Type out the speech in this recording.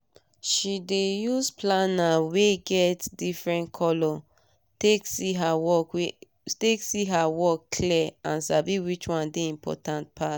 she dey use planner wey get different color take see her work clear and sabi which one dey important pass